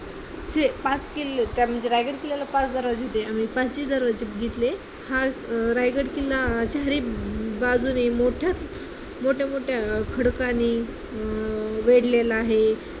पाच किल्ले त्यामध्ये रायगड किल्ल्याला पाच दरवाजे, आम्ही पाची दरवाजे बघितले, हा रायगड किल्ला चारही बाजूने मोठ्या, मोठ्या-मोठ्या खडकांनी अं वेढलेला आहे.